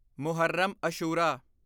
Muharram Ashura